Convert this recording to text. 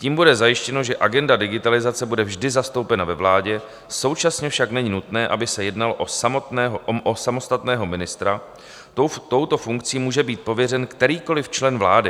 Tím bude zajištěno, že agenda digitalizace bude vždy zastoupena ve vládě, současně však není nutné, aby se jednalo o samostatného ministra, touto funkcí může být pověřen kterýkoliv člen vlády.